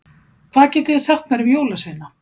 Hvað getiði sagt mér um jólasveina?